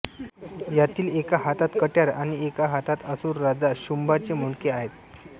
यातील एका हातत कटयार आणि एका असुर राजा शुंभा चे मुंडके आहे